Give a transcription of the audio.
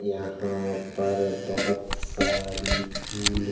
यहाँ पर बोहोत सारी फूल --